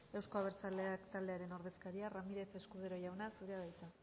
euzko abertzaleak taldearen ordezkaria ramirez escudero jauna zurea da hitza